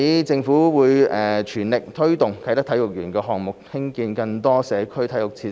政府會全力推動啟德體育園項目，興建更多社區體育設施。